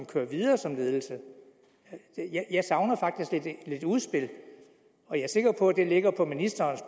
kører videre som ledelse jeg savner faktisk lidt et udspil og jeg er sikker på at det ligger på ministerens